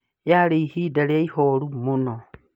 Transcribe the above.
Yaarĩ ĩbida rĩa ĩboru mũnoo